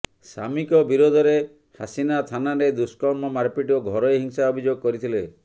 ସାମିଙ୍କ ବିରୋଧରେ ହସିନା ଥାନାରେ ଦୁଷ୍କର୍ମ ମାରପିଟ ଓ ଘରୋଇ ହିଂସା ଅଭିଯୋଗ କରିଥିଲେ